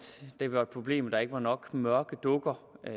det var et problem at der ikke var nok mørke dukker